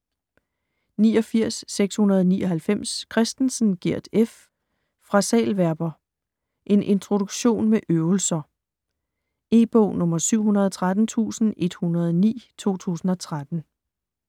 89.699 Christensen, Gert F.: Frasalverber: en introduktion med øvelser E-bog 713109 2013.